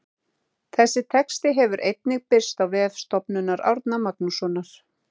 Þessi texti hefur einnig birst á vef Stofnunar Árna Magnússonar.